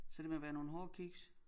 Så det må være nogle hårde kiks